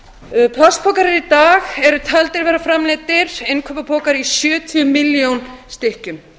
plastpokar eru í dag taldir vera framleiddir innkaupapokar í sjötíu milljón stykkjum